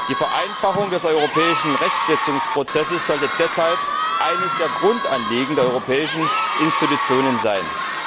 Die Vereinfachung des europäischen Rechtsetzungsprozesses sollte deshalb eines der Grundanliegen der europäischen Institutionen sein.